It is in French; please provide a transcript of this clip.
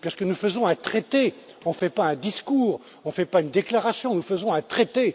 Car nous faisons un traité, on ne fait pas un discours, on ne fait pas une déclaration, nous faisons un traité.